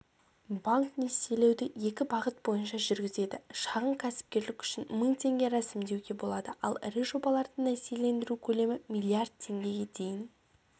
банк несиелеуді екі бағыт бойынша жүргізеді шағын кәсіпкерлік үшін мың теңге рәсімдеуге болады ал ірі жобаларды несиелендіру көлемі миллиард теңге дейін